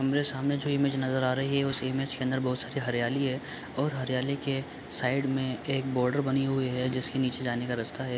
हमरे सामने जो इमेज नजर आ रही है उस इमेज के अंदर बहोत सारी हरियाली है और हरियाली के साइड में एक बॉर्डर बनी हुई है जिसके नीचे जाने का रास्ता है।